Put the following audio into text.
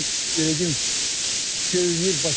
Mənim ürəyim göynüyür.